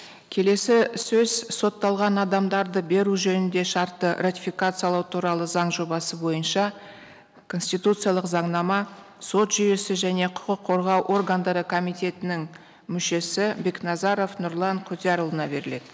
келесі сөз сотталған адамдарды беру жөнінде шартты ратификациялау туралы заң жобасы бойынша конституциялық заңнама сот жүйесі және құқық қорғау органдары комитетінің мүшесі бекназаров нұрлан құдиярұлына беріледі